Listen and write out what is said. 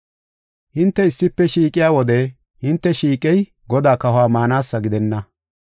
Hinte issife shiiqiya wode hinte shiiqey Godaa kahuwa maanasa gidenna.